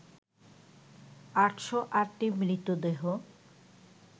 ৮০৮টি মৃতদেহ